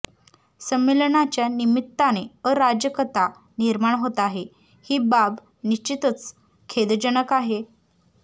संमेलनाच्या निमित्ताने अराजकता निर्माण होत आहे ही बाब निश्चितच खेदजनक आहे